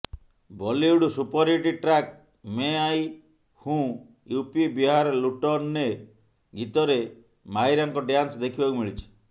Bollywood superhit track ମେଁ ଆଇ ହୁଁ ୟୁପି ବିହାର ଲୁଟନେ ଗୀତରେ ମାହିରାଙ୍କ ଡ୍ୟାନ୍ସ ଦେଖିବାକୁ ମିଳିଛି